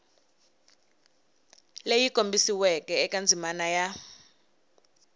leyi kombisiweke eka ndzimana ya